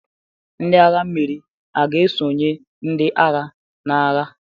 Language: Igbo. Ndị agha mmiri ga-esonyere ndị agha n'agha?